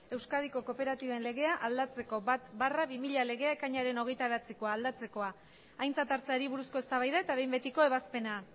euskadiko kooperatiben legea aldatzeko bat barra bi mila legea ekainaren hogeita bederatzikoa aldatzekoa aintzat hartzeari buruzko eztabaida eta behin betiko ebazpena